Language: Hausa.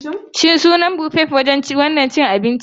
Shin suna Buffet a wannan gidan abincin?